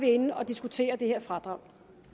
inde at diskutere det her fradrag